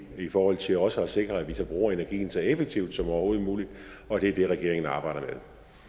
i forhold til også at sikre at vi bruger energien så effektivt som overhovedet muligt og det er det regeringen arbejder